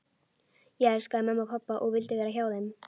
Ég elskaði mömmu og pabba og vildi vera hjá þeim.